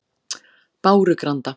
Bárugranda